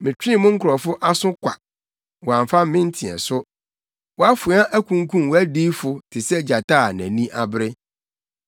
“Metwee mo nkurɔfo aso kwa; wɔamfa me nteɛso. Wʼafoa akunkum wʼadiyifo te sɛ gyata a nʼani abere.